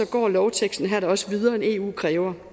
går lovteksten her da også videre end eu kræver